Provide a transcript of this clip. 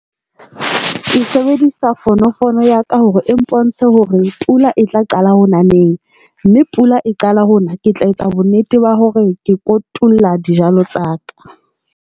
Ke sebedisa fono fono ya ka hore e mpontshe hore pula e tla qala ho na neng mme pula e qala ho na ke tla etsa bonnete ba hore ke kotula dijalo tsa ka.